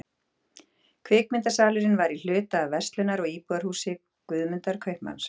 Kvikmyndasalurinn var í hluta af verslunar- og íbúðarhúsi Guðmundar kaupmanns.